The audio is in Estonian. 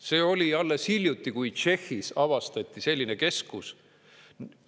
See oli alles hiljuti, kui Tšehhis avastati selline keskus.